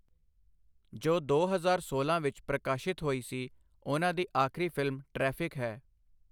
ਜੋ ਦੋ ਹਜ਼ਾਰ ਸੋਲਾਂ ਵਿੱਚ ਪ੍ਰਕਾਸ਼ਿਤ ਹੋਈ ਸੀ ਉਹਨਾਂ ਦੀ ਆਖਰੀ ਫਿਲਮ 'ਟ੍ਰੈਫਿਕ' ਹੈ,।